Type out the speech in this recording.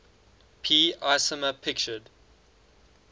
p isomer pictured